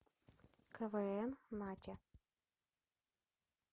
квн надя